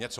Jo?